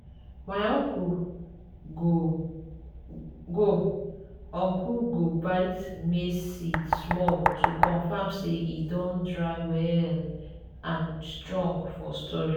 my uncle go uncle go bite maize seed small to confirm say e don dry well and strong for storage.